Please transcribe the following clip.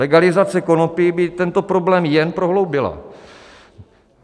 Legalizace konopí by tento problém jen prohloubila.